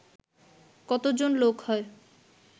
কতজন লোক হয়